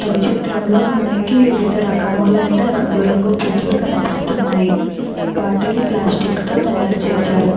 పై చిత్రంలో మనకి వివిధ రకములైన రంగురంగు పూలు కనిపిస్తున్నాయి. వాటిని ప్లాస్టిక్ తో తయారు చేశారు. .>